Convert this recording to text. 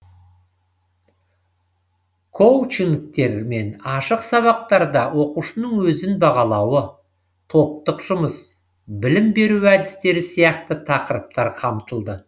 коучингтер мен ашық сабақтарда оқушының өзін бағалауы топтық жұмыс білім беру әдістері сияқты тақырыптар қамтылды